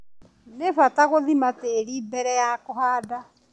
Nĩ bata gũthima tĩri mbere ya kũhanda.